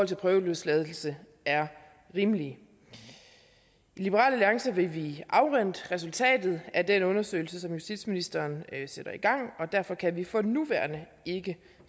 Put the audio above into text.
prøveløsladelse er rimelige i liberal alliance vil vi afvente resultatet af den undersøgelse som justitsministeren sætter i gang og derfor kan vi for nuværende ikke